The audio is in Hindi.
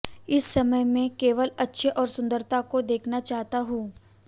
इस समय मैं केवल अच्छे और सुंदरता को देखना चाहता हूं